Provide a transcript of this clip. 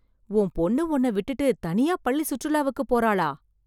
உன் பொண்ணு உன்ன விட்டுட்டு, தனியா பள்ளி சுற்றுலாவுக்கு போறாளா...